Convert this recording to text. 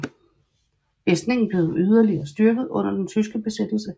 Fæstningen blev yderligere styrket under den tyske besættelse